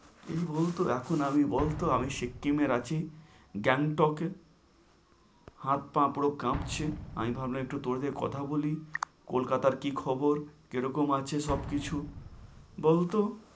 এই বলত এখন আমি বলত আমি সিকিমের আছি, গ্যাংটকে। হাত পা পুরো কাঁপছে, আমি ভাবলাম একটু তোরে কথা বলি, কলকাতার কি খবর, কে রকম আছে সব কিছু, বলত।